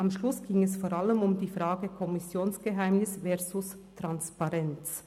Am Schluss ging es vor allem um die Frage «Kommissionsgeheimnis versus Transparenz».